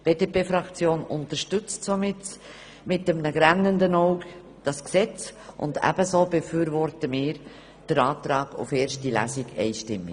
Die BDP-Fraktion unterstützt das Gesetz daher mit einem weinenden Auge und befürwortet auch den Antrag auf eine einzige Lesung einstimmig.